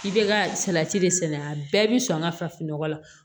I bɛ ka salati de sɛnɛ a bɛɛ bɛ sɔn an ka farafin nɔgɔ la